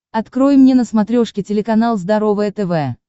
открой мне на смотрешке телеканал здоровое тв